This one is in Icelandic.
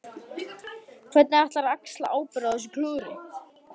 Hvernig ætlarðu að axla ábyrgð á þessu klúðri?